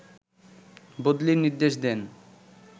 বদলির নির্দেশ দেন